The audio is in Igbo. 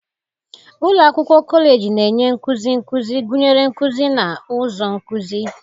Ụlọ akwụkwọ kọleji na-enye nkuzi nkuzi, gụnyere nkuzi na ụzọ nkuzi.